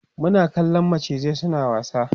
Muna kallan macizan suna wasa